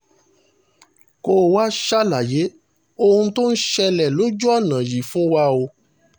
kò wáá ṣàlàyé ohun tó ń ṣẹlẹ̀ lójú ọ̀nà yìí fún wa o